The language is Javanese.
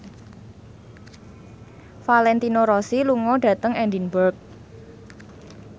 Valentino Rossi lunga dhateng Edinburgh